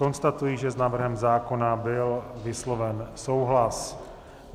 Konstatuji, že s návrhem zákona byl vysloven souhlas.